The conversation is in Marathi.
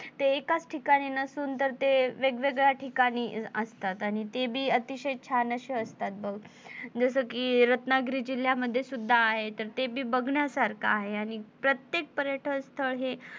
ते एकाच ठिकाणी नसून तर ते वेगवेगळ्या ठिकाणी असतात आणि ते बी अतिशय छान असे असतात बघ जस कि रत्नागिरी जिल्ह्यामध्ये सुद्धा आहेत तर तेबी बघण्यासारख आहे आणि प्रत्येक पर्यटक स्थळ हे,